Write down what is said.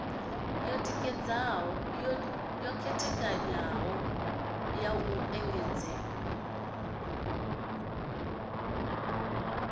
yo khetheaho ya u engedzelwa